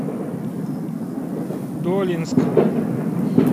долинск